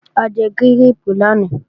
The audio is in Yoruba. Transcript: A jẹ gírèèpù lánàá